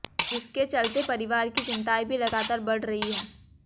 जिसके चलते परिवार की चिंताएं भी लगातार बढ़ रही हैं